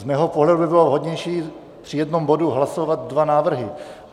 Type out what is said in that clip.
Z mého pohledu by bylo vhodnější při jednom bodu hlasovat dva návrhy.